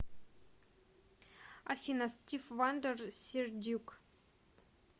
афина стив вандер сир дюк